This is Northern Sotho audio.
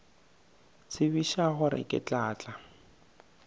tsebiša gore ke tla tla